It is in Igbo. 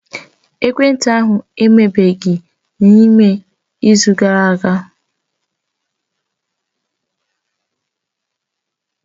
Ekwentị ahụ ebeghị n'ime izu gara aga